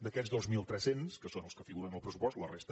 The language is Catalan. d’aquests dos mil tres cents que són els que figuren al pressupost la resta